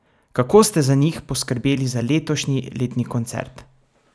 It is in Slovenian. Kako ste za njih poskrbeli za letošnji letni koncert?